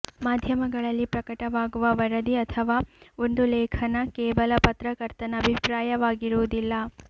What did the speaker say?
ಮಾಧ್ಯಮಗಳಲ್ಲಿ ಪ್ರಕಟವಾಗುವ ವರದಿ ಅಥವಾ ಒಂದು ಲೇಖನ ಕೇವಲ ಪತ್ರಕರ್ತನ ಅಭಿಪ್ರಾಯವಾಗಿರುವುದಿಲ್ಲ